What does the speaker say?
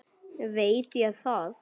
Veit ég það?